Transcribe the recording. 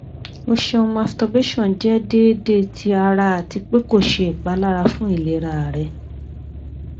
o ṣeun masturbation jẹ deede ti ara ati pe ko ṣe ipalara fun ilera rẹ